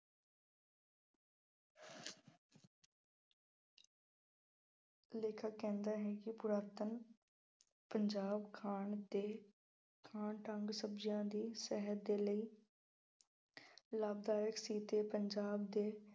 ਲੇਖਕ ਕਹਿੰਦਾ ਹੈ ਕਿ ਪੁਰਾਤਨ ਪੰਜਾਬ ਖਾਣ ਤੇ ਥਾਂ ਢੰਗ ਸ਼ਬਜ਼ੀਆਂ ਦੀ ਸਿਹਤ ਦੇ ਲਈ ਲਾਭਦਾਇਕ ਕੀਤੇ ਪੰਜਾਬ ਦੇ